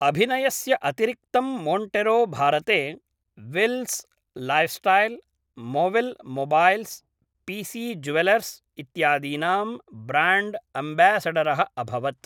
अभिनयस्य अतिरिक्तं मोंटेरो भारते विल्स लाइफस्टाइल, मोविल् मोबाइल्स्, पीसी ज्वेलर्स् इत्यादीनां ब्राण्ड् एम्बेस्डरः अभवत् ।